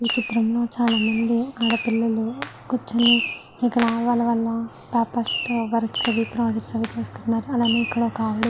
ఈ చిత్రం లో చాలామంది ఆడపిల్లలు కూర్చుని ఇక్కడ వాళ్ళ వాళ్ళా పేపర్స్ తో వర్క్స్ అవి ప్రొజెక్ట్స్ అవి చేస్తున్నారు అలాగే ఇక్కడ ఒకావిడ.